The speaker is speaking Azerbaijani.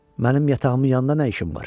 Mənim yatağımın yanında nə işin var?